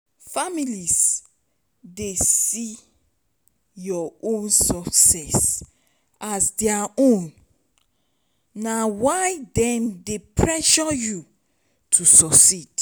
families dey see your own success as their own na why dem dey pressure you to suceed